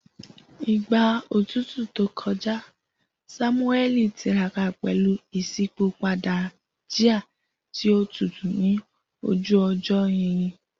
Igba otutu to kọja, Samueli tiraka pẹlu iṣipopada jia ti o tutu ni oju ojo yinyin.